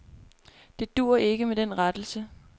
Det duer ikke med den rettelse.